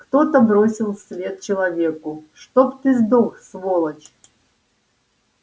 кто-то бросил вслед человеку чтоб ты сдох сволочь